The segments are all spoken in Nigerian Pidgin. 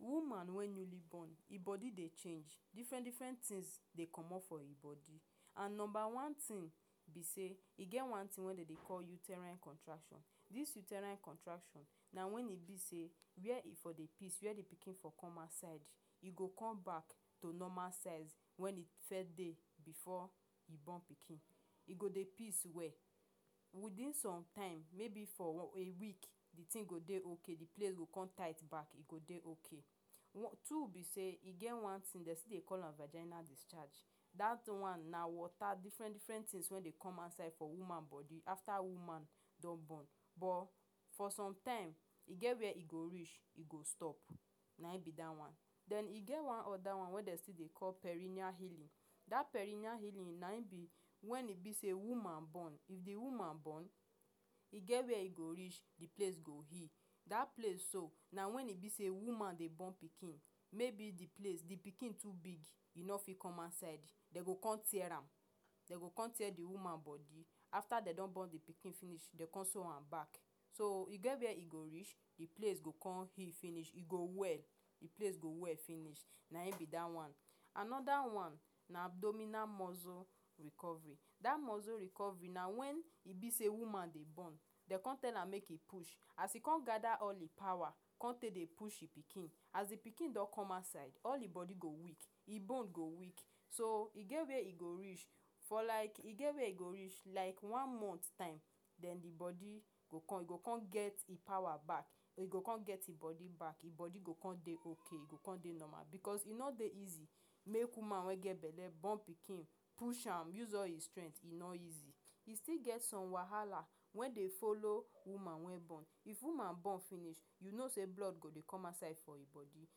Woman wey newly born, e body dey change. Different-different things dey comot for im body. And number one thing be say, e get one thing wey dem dey call uterine contraction. Dis uterine contraction na when e be say, where e for dey piss, where the pikin for dey come outside, e go come back to normal size wey e first dey before e born pikin. You go dey piss well. Within sometime, maybe for a week, the thing go dey okay. E go come tight back. E go dey okay. Two be say, e get one thing dem still dey call vaginal discharge. Dat one na water, different-different things wey dey come outside for woman body after woman don born. But for some time, e get where e go reach, e go stop. Nayin be dat one. Then e get one other one wey dem still dey call perineal healing. Dat perineal healing na im be when e be say woman born. If the woman born, e get where e go reach, the place go heal. Dat place so na when e be say woman dey born pikin. Maybe the place pikin too big, e no fit come outside, dem go come tear am. Dem go come tear the woman body. After dem don born the pikin finish, dem go come sew am back. So, e get where e go reach, the place go come heal finish. E go well. The place go well finish. Nayin be dat one. Another one na abdominal muscle recovery. Dat muscle recovery na when e be say woman dey born, dem go come tell am say make e push. As e come gather all the power come take push im pikin, as the pikin don come outside, all the body go weak. The bone go weak. So, e get where e go reach for like e get where e go reach — like one month time — then the body go come e go come get e power back. E go come get e body back. Im body go come dey okay. E body go dey normal. Because e no dey easy make woman wey get belle born pikin, push am, use all e strength — e no easy. E still get some wahala wey dey follow woman when born. If woman born finish, you know say blood go dey come outside for im body.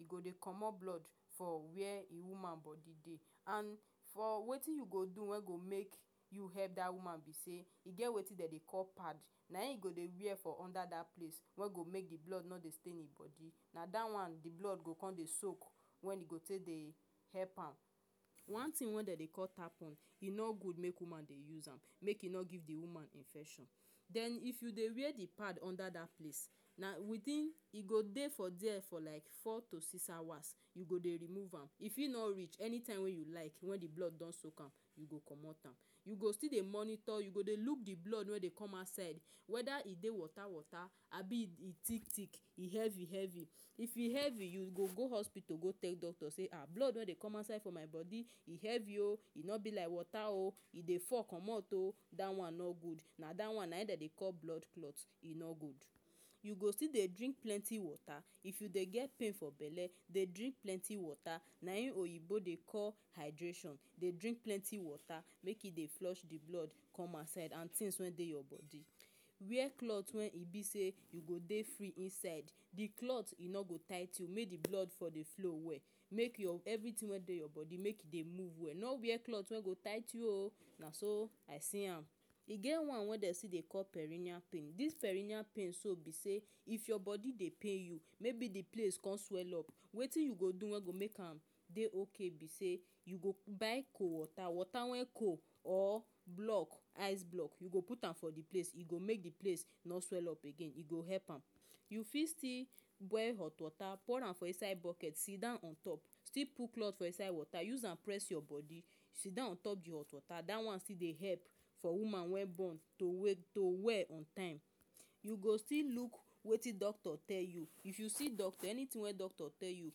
E go dey comot blood for where e woman body dey. And for wetin you go do wey go make you help dat woman be say, e get wetin dem dey call pad. Nayin e go dey wear for under dat place wey go make the blood no dey stain im body. Na dat one the blood go come dey soak. Wey e go take dey help am. One thing wey dem dey call tampon, e no good make woman dey use am — make e no give the woman infection. Then if you dey wear the pad under dat place, na within e go dey for dere for like four to six hours you go dey remove am. E fit no even reach. Anytime wey you like, when the blood don soak am, you go come out am. You go still dey monitor, you go dey look the blood wey dey come outside whether e dey water-water or abi e e dey thick-thick, e heavy-heavy. If e heavy, you go go hospital go tell doctor say: “um Blood wey dey comot for my body e heavy oh! E no be like water oh! E dey fall comot oh!” Dat one no good. Na dat one nayin dem dey call blood clot. E no good. You go still dey drink plenty water. If you dey get pain for belle, dey drink plenty water. Nayin oyinbo dey call hydration. Dey drink plenty water make e dey flush the blood come outside and things wey dey your body. Wear cloth when e be say you go dey free inside. The cloth e no good tight you make the blood for dey flow well. Make your everything wey dey your body make e dey move well. No wear cloth wey go tight you oh! Naso I see am. E get one wey dem still dey call perineal pain. Dis perineal pain so be say, if your body dey pain you, maybe the place come swell up — wetin you go do wey go help make am dey okay be say, you go buy cold water water wey cold or block ice block. You go put am for the place. E go make the place no swell up again. E go help am. You fit still boil hot water, pour am for inside bucket, sit don on top. Still put cloth for inside water use am press your body. Sit down on top the hot water — dat one still dey help for woman when born to we to well on time. You go still look wetin doctor tell you. If you see doctor, anything when doctor tell you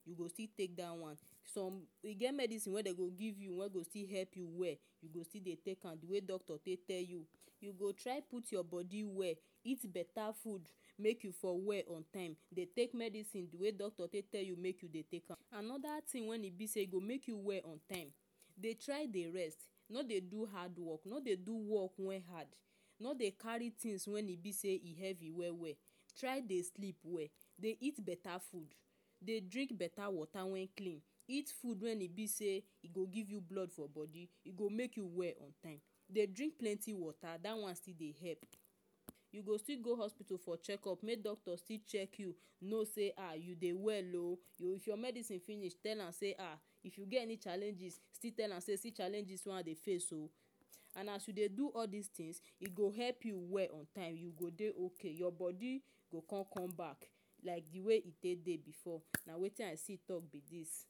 — you go still take dat one. Some, e get medicine wey dem go give you wey go still help you well. You go still dey take am the way doctor take tell you. You go try put your body well. Eat beta food make you for well on time. Dey take medicine the way doctor talk make you take am. Another thing wey e be say e go make you well on time — dey try dey rest. No dey do hard work. No dey do work wen hard. No dey carry thing wen e be say e heavy well well. Try dey sleep well. Dey eat beta food. Dey drink beta water wen clean. Eat food wen e be say e go give you blood for body, go make you well on time. Dey drink plenty water — dat one still dey help. You go still go hospital for checkup make doctor still check you, know say, “[Ah You dey well oh!” If your medicine finish, tell am say Ah If you get any challenges, still tell am say: “See challenge wen I dey face oh!” And as you dey do all dis things, e go help you well on time. You go dey okay. Your body go come come back like the way e dey dey before. Na wetin I see talk be dis.